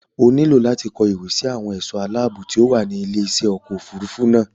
O ní láti kọ ìwé sí àwọn ẹ̀ṣọ́ aláàbọ̀ tí ó wà ní ilé iṣẹ́ ọkọ̀ òfurufú náà